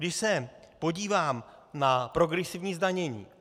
Když se podívám na progresivní zdanění.